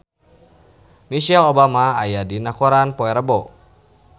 Michelle Obama aya dina koran poe Rebo